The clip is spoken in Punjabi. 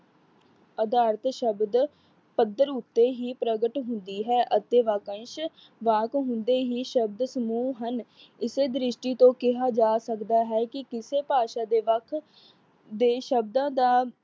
ਅਦਾਰਿਤ ਸ਼ਬਦ ਪੱਧਰ ਉਤੇ ਹੀ ਪ੍ਰਗਟ ਹੁੰਦੀ ਹੈ ਅਤੇ ਵਾਕਅੰਸ਼ ਵਾਕ ਹੁੰਦੇ ਹੀ ਸ਼ਬਦ ਸਮੂਹ ਹਨ। ਇਸੇ ਦ੍ਰਿਸ਼ਟੀ ਤੋਂ ਕਿਹਾ ਜਾ ਸਕਦਾ ਹੈ ਕਿ ਕਿਸੇ ਭਾਸ਼ਾ ਵਾਕ ਦੇ ਸ਼ਬਦਾ ਦਾ